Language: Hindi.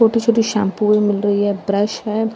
छोटी छोटी शैंपू भी मिल रही है ब्रश है।